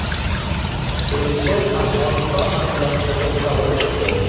Elchi Afg‘oniston masalasiga to‘xtalib o‘tdi.